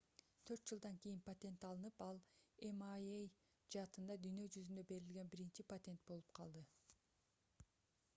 4 жылдан кийин патент алынып ал mri жаатында дүйнө жүзүндө берилген биринчи патент болуп калды